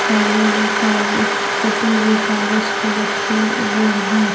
सारे कागज कटे हुए कागज पर रखे हुए हैं।